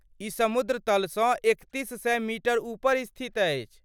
ई समुद्र तल सँ एकतीस सए मीटर ऊपर स्थित अछि।